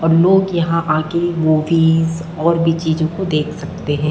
और लोग यहाँ आके मूवीस और भी चीजों को देख सकते है।